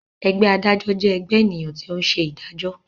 Ẹgbẹ́ adájọ́ jẹ ẹgbẹ ènìyàn tí o ń ṣe ìdájọ.